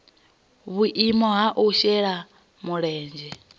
vhuimo ha u shela mulenzhe